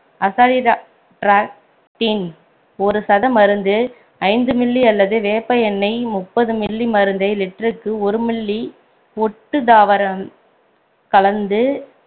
azadirachtin ஒரு சத மருந்து ஐந்து milli அல்லது வேப்ப எண்ணெய் முப்பது milli மருந்தை litre க்கு ஒரு milli ஒட்டும தாரவம் கலந்து